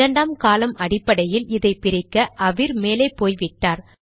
இரண்டாம் காலம் அடிப்படையில் இதை பிரிக்க அவிர் மேலே போய்விட்டார்